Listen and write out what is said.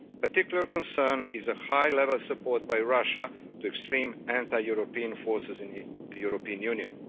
Of particular concern is the high level support by Russia to extreme anti European forces in the European Union.